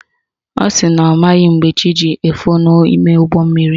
Ọ sị na ọ maghị mgbe chi ji efo n'ime ụgbọmmiri